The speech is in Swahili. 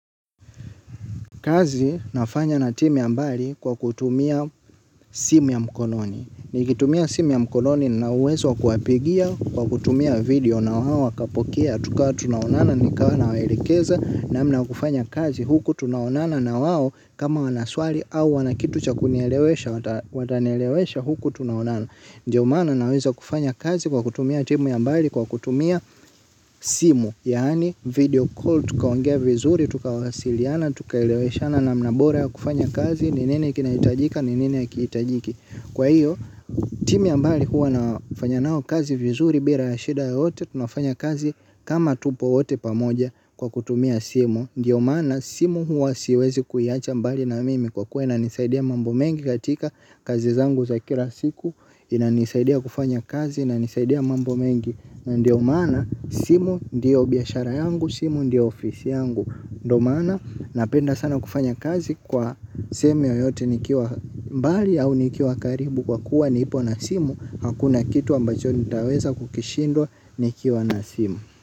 Kazi nafanya na timu ya mbali kwa kutumia simu ya mkononi. Nikitumia simu ya mkononi na uwezo kuhapigia kwa kutumia video na wawakapokia. Tukawa tunawonana nikawa nawaelekeza namna kufanya kazi huku tunawonana na wawo kama wanaswali au wana kitu cha kunielewesha watanelewesha huku tunawonana. Ndiyo mana nauwezo wa kufanya kazi kwa kutumia timu ya mbali kwa kutumia simu. Yani video call, tukawongea vizuri, tukawasiliana, tukaeleweshana namnabora ya kufanya kazi, ni nini kinaitajika, ni nini hakitajiki. Kwa hiyo, timu ya mbali huwa nafanya nao kazi vizuri, bira ya shida ya hote, tunafanya kazi kama tupo hote pamoja kwa kutumia simu. Ndiyo mana simu huwa siwezi kuiacha ambali na mimi kwa kua inanisaidia mambo mengi katika kazi zangu za kila siku. Inanisaidia kufanya kazi na nisaidia mambo mengi. Na ndio mana simu ndio biyashara yangu. Simu ndio ofisi yangu. Ndo mana napenda sana kufanya kazi kwa sehemiu yoyote nikiwa mbali au nikiwa karibu. Kwa kuwa nipo na simu. Hakuna kitu ambajo nitaweza kukishindwa nikiwa na simu.